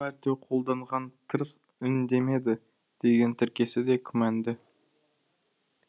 сол секілді екі мәрте қолданған тырс үндемеді деген тіркесі де күмәнді